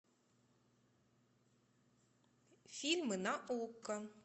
фильмы на окко